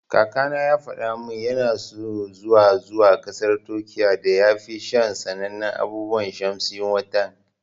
Kakana ya fada mun ya so zuwa zuwa kasar Turkiya dan ya sha sanannen abun shamsi Wutan.